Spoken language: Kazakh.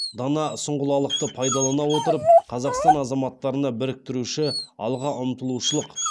дана сұңғылалықты пайдалана отырып қазақстан азаматтарына біріктіруші алға ұмтылушылық